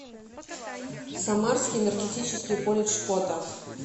самарский энергетический колледж фото